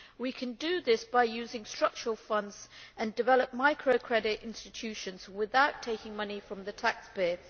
We can do this by using structural funds and developing microcredit institutions without taking money from the taxpayer.